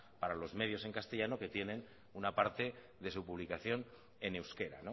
para los medios en castellano que tienen una parte de su publicación en euskera